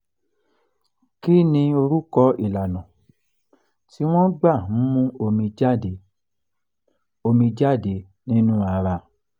kí ni orúkọ ìlànà tí wọ́n gbà ń mú omi jáde omi jáde nínú ara?